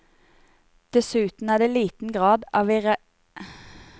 Dessuten er det liten grad av irreversibilitet i beslutningen om å opprette en ny avgang.